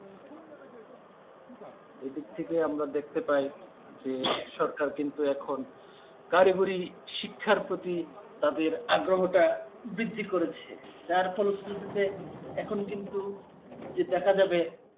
এ দিক থেকে আমরা দেখতে পাই যে সরকার কিন্তু, এখন কারিগরি শিক্ষার প্রতি তাদের আগ্রহটা বৃদ্ধি করেছে. যার ফলশ্রুতিতে এখন কিন্তু যে দেখা যাবে